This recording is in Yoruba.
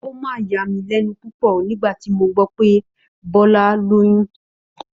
Ó mà yà mí lẹ́nu púpọ̀ nígbà tí mo gbọ́ pé Bọ́lá lóyún